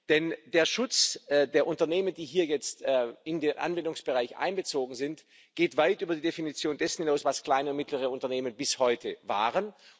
Denn der Schutz der Unternehmen, die hier jetzt in den Anwendungsbereich einbezogen sind, geht weit über die Definition dessen hinaus, was kleine und mittlere Unternehmen bis heute waren.